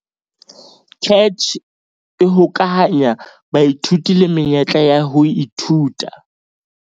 CACH e hokahanya baithuti le menyetla ya ho ithuta